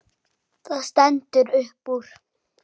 Það stendur upp úr.